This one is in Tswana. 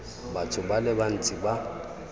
batho ba le bantsi ba